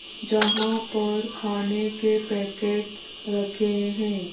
जहां पर खाने के पैकेट्स भी रखे हैं।